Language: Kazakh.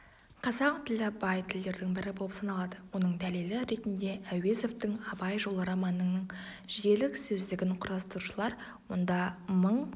қазақ тілі бай тілдердің бірі болып саналады оның дәлелі ретінде әуезовтың абай жолы романының жиілік сөздігін құрастырушылар онда мың